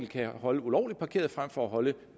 kan holde ulovligt parkeret frem for at holde